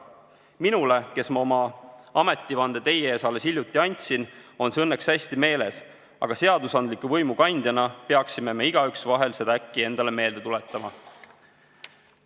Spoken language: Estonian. Minul, kes ma oma ametivande teie ees alles hiljuti andsin, on see õnneks hästi meeles, aga seadusandliku võimu kandjana peaksime me igaüks seda äkki endale vahel meelde tuletama.